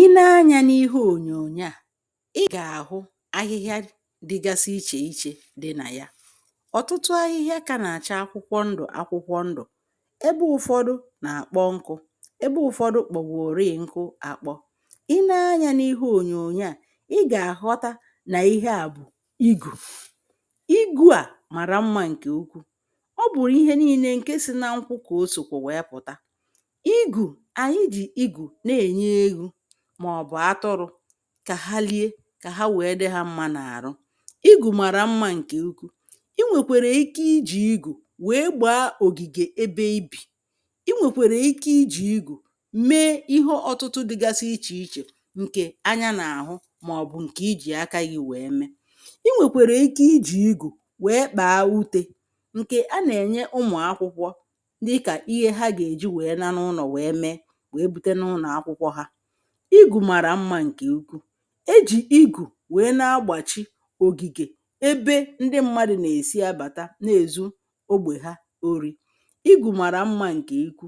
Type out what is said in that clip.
Ị ne anyā n’ihe ònyònyo à ị gà-àhụ ahịhịa dịgasi ichè ichē dị nà ya ọ̀tụtụ ahịhịa ka nà-àcha akwụkwọ ndụ̀ akwụkwọ ndụ̀ ebe ụ̀fọdụ nà-àkpọ nkū ebe ụ̀fọdụ kp̀ọgòri nku àkpọ ị ne anyā n’ihe ònyònyo à ị gà-àghọta nà ihe à bụ igù. igū à màrà mmā ǹkè ukwuù ọ bụ̀ ihe niīnē ǹke si na nkwu kà o sòkwù wèe pụ̀ta igù ànyị jì igù na-ènye eghū màọ̀bụ̀ atụrụ̄ kà ha lie, kà ha wèe dị hā mmā n’àrụ igù màrà mmā ǹkè ukwuù ị nwèkwèrè ike ijì igù wèe gbàa ògìgè ebe ị bì ị nwèkwèrè ike ijì igù me ihe ọ̀tụtụ dịgasi ichè ichè ǹkè anya nà-àhụ màọ̀bụ̀ ǹkè ị jì aka gị wèe me, ị nwèkwèrè ike ijì igù wèe kpàa utē ǹkè anà-ènye ụmụ̀ akwụkwọ dịkà ihe ha gà-èji wèe na n’ụnọ̀ wèe me wèe bute n’ụnọ̀ akwụkwọ hā. igù màrà mmā ǹkè ukwuù ejì igù wèe na-agbàchi ògìgè ebe ndị mmadụ̄ nà-èsi abàta na-èzu ogbè ha orī, igù màrà mmā ǹkè ikwu